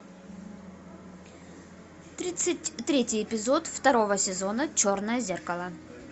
тридцать третий эпизод второго сезона черное зеркало